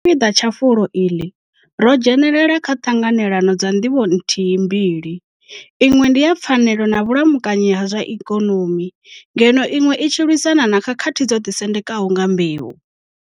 Sa tshipiḓa tsha fulo iḽi, ro dzhenela kha Ṱhanganelano dza Ndivho nthihi mbili, iṅwe ndi ya pfanelo na vhulamukanyi ha zwa ikonomi ngeno iṅwe i tshi lwisana na khakhathi dzo ḓisendekaho nga mbeu.